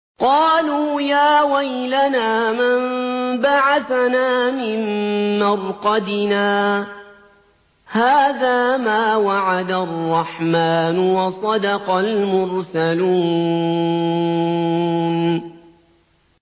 قَالُوا يَا وَيْلَنَا مَن بَعَثَنَا مِن مَّرْقَدِنَا ۜۗ هَٰذَا مَا وَعَدَ الرَّحْمَٰنُ وَصَدَقَ الْمُرْسَلُونَ